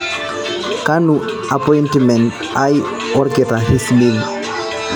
kanu apointimen aai woo olkitari smith